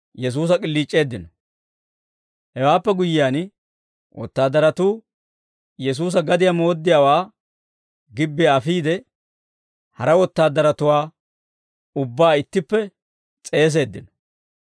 Hewaappe guyyiyaan, wotaadaratuu Yesuusa gadiyaa mooddiyaawaa gibbiyaa afiide, hara wotaadaratuwaa ubbaa ittippe s'eeseeddino.